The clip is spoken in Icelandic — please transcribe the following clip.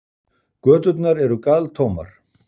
Göturnar eru galtómar.